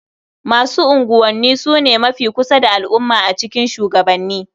Masu unguwanni su ne mafi kusa da al'umma a cikin shugabanni.